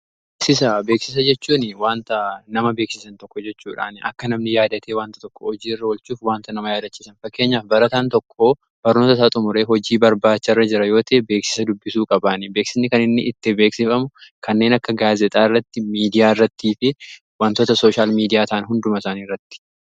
Beeksisa, beeksisa jechuun wanta nama beeksisan tokko jechuudhaan akka namni yaadatee wanta tokko hojii irra olchuuf wanta nama yaadachisan fakkeenyaaf barataan tokko barnoota isaa xumuree hojii barbaacha irra jira yoo tahe beeksisa dubbisuu qabaanii beeksisni kaninni itti beeksifamu kanneen akka gaazexaa irratti miidiyaa irrattii fi wantoota sooshaal miidiyaataan hunduma isaaniirratti.